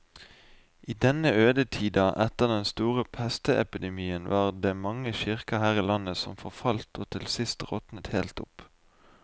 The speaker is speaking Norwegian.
I denne ødetida etter den store pestepidemien var det mange kirker her i landet som forfalt og til sist råtnet helt opp.